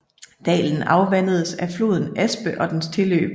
Dalen afvandes af floden Aspe og dens tilløb